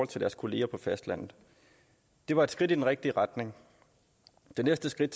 til deres kollegaer på fastlandet det var et skridt i den rigtige retning det næste skridt